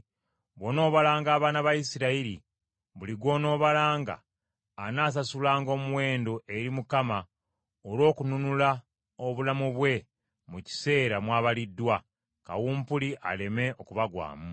“Bw’onoobalanga abaana ba Isirayiri, buli gw’onoobalanga anaasasulanga omuwendo eri Mukama olw’okununula obulamu bwe mu kiseera mw’abaliddwa, kawumpuli aleme okubagwamu.